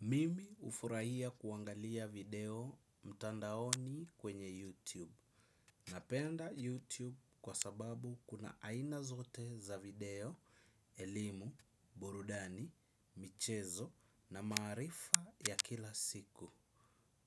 Mimi hufurahia kuangalia video mtandaoni kwenye YouTube. Napenda YouTube kwa sababu kuna aina zote za video elimu, burudani, michezo na maarifa ya kila siku